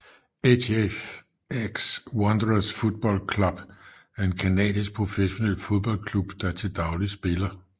HFX Wanderers Football Club er en canadisk professionel fodboldklub der til dagligt spiller i